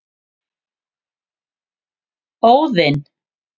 Óðinn